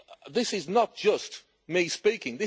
This is not just me speaking.